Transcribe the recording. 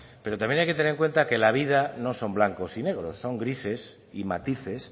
pero también hay que tener en cuenta que la vida no son blancos y negros son grises y matices